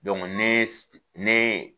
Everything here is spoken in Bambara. ne ye neeee.